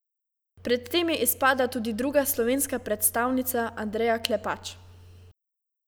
Pred tem je izpadla tudi druga slovenska predstavnica Andreja Klepač.